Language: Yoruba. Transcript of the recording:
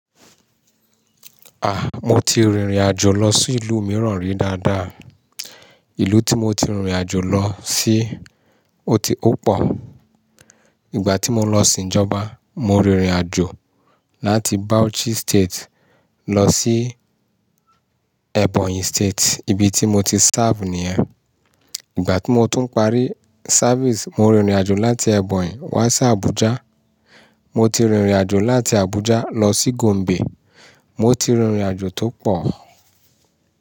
Mo ti rìnrìn àjò lọ sí ìlú mìíràn rí dáadáa. Ìlú tí mo ti rìnrìn àjò lọ sí ó ti ó pọ̀. Ìgbà tí mo lọ sin Ìjọba, mo rìnrìn àjò láti Bauchi state lọ sí Ebonyi state, ibi tí mo ti serve ní e Ìgbà tí mo tún ń parí service, mo rìnrìn àjò láti Ebonyi wá sí Abuja. Mo ti rìnrìn àjò láti Abuja lọ sí Gombe. Mo ti rìnrìn àjò tó pọ̀